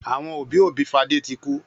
Àwọn òbí-òbí Fadé ti kú